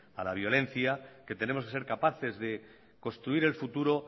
a la violencia que tenemos que ser capaces de construir el futuro